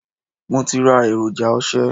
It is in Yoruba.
Mo ti ra èròjà ose.